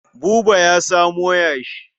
Buba ya samo yashi.